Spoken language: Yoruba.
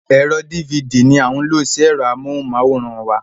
Ẹ̀rọ dívidì ní a ń lo sí ẹ̀rọ amóhùnmáwòrán wa.